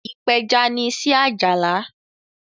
ipeja ní iṣé Ajala.